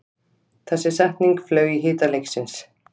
Þessi setning flaug í hita leiksins